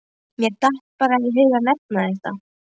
Mér datt bara í hug að nefna þetta.